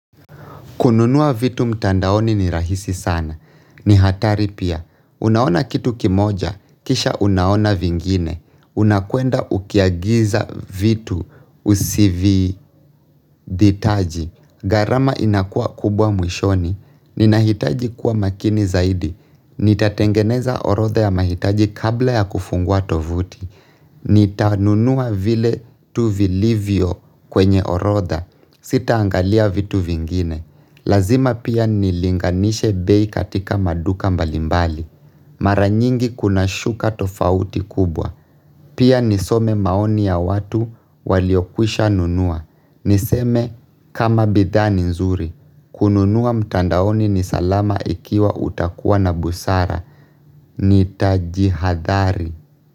Kununua vitu mtandaoni ni rahisi sana. Ni hatari pia. Unaona kitu kimoja, kisha unaona vingine. Unakwenda ukiagiza vitu usivihitaji. Gharama inakuwa kubwa mwishoni. Ninahitaji kuwa makini zaidi. Nitatengeneza orodha ya mahitaji kabla ya kufungua tovuti. Nitanunua vile tu vilivyo kwenye orodha. Sitaangalia vitu vingine. Lazima pia nilinganishe bei katika maduka mbalimbali. Maranyingi kuna shuka tofauti kubwa. Pia nisome maoni ya watu waliokwisha nunua. Niseme kama bidhaa ni nzuri. Kununua mtandaoni ni salama ikiwa utakuwa na busara. Nitajihadhari.